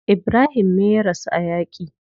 Ibrahim me ya rasu a yaki.